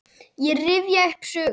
Ég rifja upp sögur.